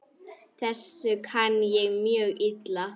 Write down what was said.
Þessu kann ég mjög illa.